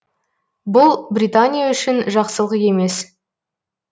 бұл британия үшін жақсылық емес